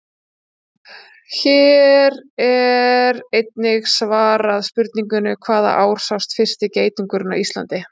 Hér er einnig svarað spurningunni: Hvaða ár sást fyrsti geitungurinn á Íslandi?